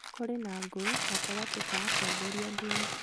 kũrĩ na ngũĩ gatagatĩ ka atongoria a ndini